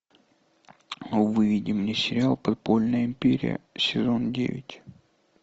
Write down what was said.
выведи мне сериал подпольная империя сезон девять